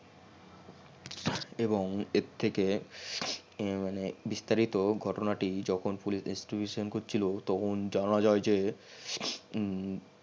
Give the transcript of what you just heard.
এবং এর থেকে মানে বিস্তারিত ঘটনা টি যখন পুলিশ investigation করছিল তখন জানা যাই যে